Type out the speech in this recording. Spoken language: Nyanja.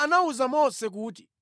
Yehova anawuza Mose kuti,